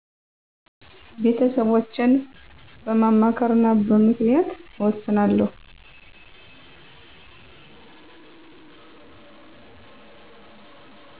ቤተሰቦቸን በማማከርና በምክንያት እወስናለሁ።